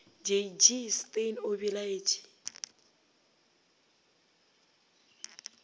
j g steyn o belaetše